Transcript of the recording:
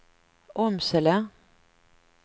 Åmsele